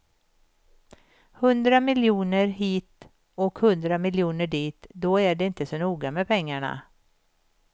Hundra miljoner hit och hundra miljoner dit, då är det inte så noga med pengarna.